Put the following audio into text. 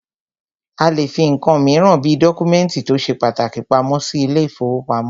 A lè fí nǹkan míràn bí dọ́kúmẹ̀ntì tó ṣe pàtàkì pamọ́ sí ilé ìfọwọ́pamo.